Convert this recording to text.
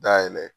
Dayɛlɛ